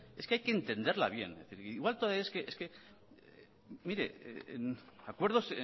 hay que entenderla bien mire acuerdos